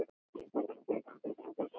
Hún var hér í morgun.